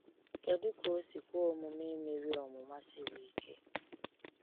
Kedu ka o si kwe omume imeri ọnwụnwa siri ike?